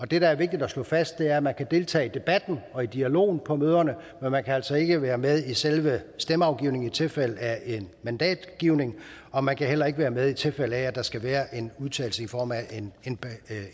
det der er vigtigt at slå fast er at man kan deltage i debatten og i dialogen på møderne men man kan altså ikke være med i selve stemmeafgivningen i tilfælde af en mandatgivning og man kan heller ikke være med i tilfælde af at der skal være en udtalelse i form af